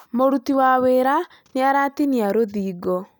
Mũruti wĩra nĩ aratinia rũthingo